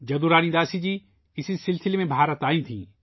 جدو رانی داسی جی ، اسی سلسلے میں بھارت آئی تھیں